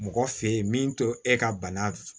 Mɔgɔ fe yen min to e ka bana